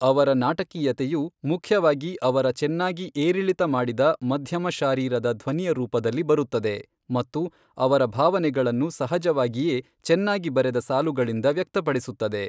ಅವರ ನಾಟಕೀಯತೆಯು ಮುಖ್ಯವಾಗಿ ಅವರ ಚೆನ್ನಾಗಿ ಏರಿಳಿತಮಾಡಿದ ಮಧ್ಯಮ ಶಾರೀರದ ಧ್ವನಿಯ ರೂಪದಲ್ಲಿ ಬರುತ್ತದೆ, ಮತ್ತು ಅವರ ಭಾವನೆಗಳನ್ನು ಸಹಜವಾಗಿಯೇ ಚೆನ್ನಾಗಿ ಬರೆದ ಸಾಲುಗಳಿಂದ ವ್ಯಕ್ತಪಡಿಸುತ್ತದೆ.